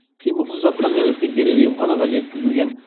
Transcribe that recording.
қимылсыз жатқан нәресте дереу емханаға жеткізілген